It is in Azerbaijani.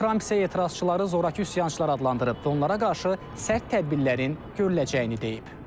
Tramp isə etirazçıları zorakı üsyançılar adlandırıb, onlara qarşı sərt tədbirlərin görüləcəyini deyib.